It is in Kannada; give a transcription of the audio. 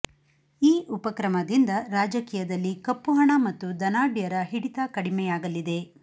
ಈ ಉಪಕ್ರಮದಿಂದ ರಾಜಕೀಯದಲ್ಲಿ ಕಪ್ಪು ಹಣ ಮತ್ತು ಧನಾಢ್ಯರ ಹಿಡಿತ ಕಡಿಮೆಯಾಗಲಿದೆ